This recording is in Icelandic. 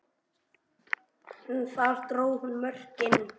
En þar dró hún mörkin.